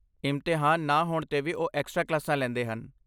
ਇਮਤਿਹਾਨ ਨਾ ਹੋਣ 'ਤੇ ਵੀ ਉਹ ਏਕਸਟ੍ਰਾ ਕਲਾਸਾਂ ਲੈਂਦੇ ਹਨ।